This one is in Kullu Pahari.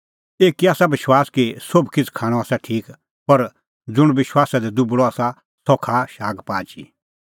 एकी आसा विश्वास कि सोभ किछ़ खाणअ आसा ठीक पर ज़ुंण विश्वासा दी दुबल़अ आसा सह खाआ शागपाच ई